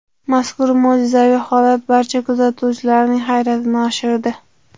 Mazkur mo‘jizaviy holat barcha kuzatuvchilarining hayratini oshirdi.